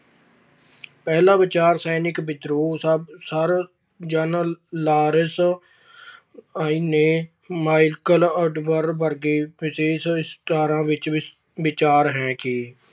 ਪਹਿਲਾ ਵਿਚਾਰ ਸੈਨਿਕ ਵਿਦਰੋਹ। Sir General Lawrence ਨੇ Michael ODwyer ਵਰਗੇ ਵਿਸ਼ੇਸ਼ ਇਤਿਹਾਸਕਾਰਾਂ ਦਾ ਵਿਚਾਹ ਹੈ ਕਿ